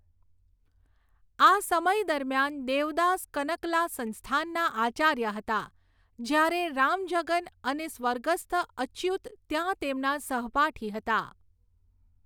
આ સમય દરમિયાન દેવદાસ કનકલા સંસ્થાના આચાર્ય હતા, જ્યારે રામજગન અને સ્વર્ગસ્થ અચ્યુત ત્યાં તેમના સહપાઠી હતા.